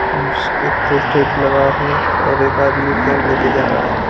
इसके एक लगा है और एक आदमी केन लेके जा रहा है।